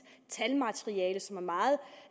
talmateriale som er meget